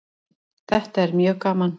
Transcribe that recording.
Þetta er mjög gaman